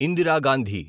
Indira Gandhi